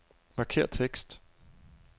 Markér tekst.